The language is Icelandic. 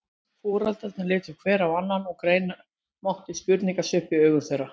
Foreldrarnir litu hver á annan og greina mátti spurnarsvip í augum þeirra.